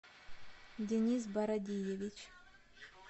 денис бородиевич